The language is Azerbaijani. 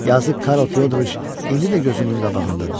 Yazıq Karl Fyodoroviç indi də gözümün qabağındadır.